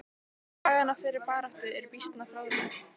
Sagan af þeirri baráttu er býsna fróðleg.